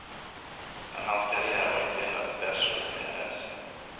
Men hans karriär var inte endast världsresenärens.